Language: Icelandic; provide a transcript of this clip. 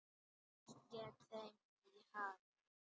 Allt gekk þeim í haginn.